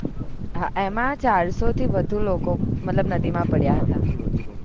હા એમાં ચારસો થી વધુ લોકોમતલબ નદી માં પડ્યા હતા